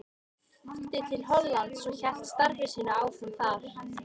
Þá flutti til Hollands og hélt starfi sínu áfram þar.